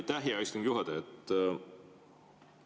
Aitäh, hea istungi juhataja!